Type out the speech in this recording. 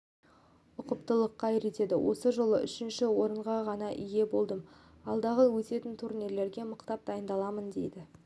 ұқыптылыққа үйретеді осы жолы үшінші орынға ғана ие болдым алдағы өтетін турнирлерге мықтап дайындаламын дейді